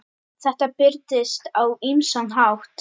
Þetta birtist á ýmsan hátt.